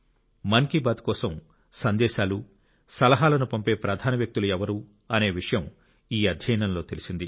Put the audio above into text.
మన్ కీ బాత్ కోసం సందేశాలు సలహాలను పంపే ప్రధాన వ్యక్తులు ఎవరు అనే విషయం ఈ అధ్యయనంలో తెలిసింది